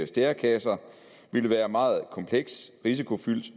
stærekasser ville være meget kompleks risikofyldt